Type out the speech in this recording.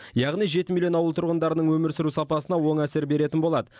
яғни жеті миллион ауыл тұрғынының өмір сүру сапасына оң әсер беретін болады